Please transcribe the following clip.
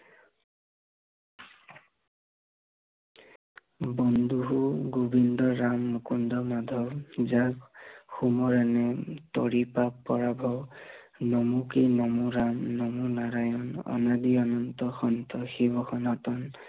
বন্ধু গোৱিন্দ ৰাম মুকুণ্ড মাধৱ, যাক শুভ তৰি পাঠ নমো কি নমো ৰাম, নমো নাৰায়ন, অনাদি অনন্ত, সন্ত, শিৱ সনাতন